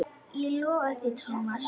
Ég lofa því sagði Thomas.